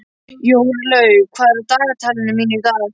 Jórlaug, hvað er á dagatalinu mínu í dag?